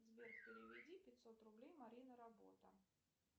сбер переведи пятьсот рублей марина работа